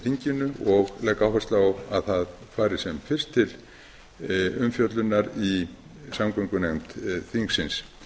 þinginu og legg áherslu á að það fari sem fyrst til umfjöllunar í samgöngunefnd þingsins